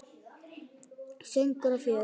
Söngur og fjör.